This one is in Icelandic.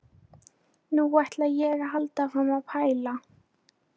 Nú ætla ég að halda áfram að pæla.